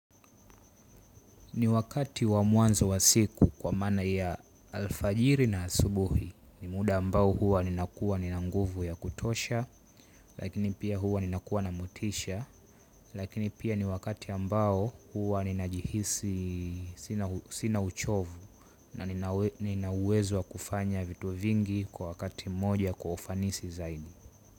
Ni wakati wa mwanzo wa siku kwa maana ya alfajiri na asubuhi ni muda ambao huwa ninakuwa ni nanguvu ya kutosha lakini pia huwa ninakuwa na motisha lakini pia ni wakati ambao huwa ni najihisi sina uchovu na ninauwezo kufanya vitu vingi kwa wakati mmoja kwa ufanisi zaidi.